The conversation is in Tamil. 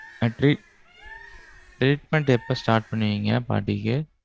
treatment எப்போ start பண்ணுவீங்க பாட்டிக்கு?